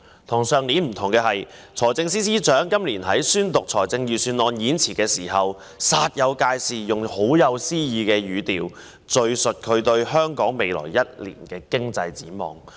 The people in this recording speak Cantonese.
與去年不同的是，今年財政司司長在宣讀預算案演辭時，煞有介事地用甚富詩意的語調，敘述他對香港未來一年的經濟展望。